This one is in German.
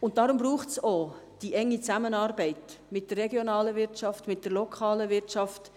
Deswegen braucht es auch die enge Zusammenarbeit mit der regionalen Wirtschaft, mit der lokalen Wirtschaft.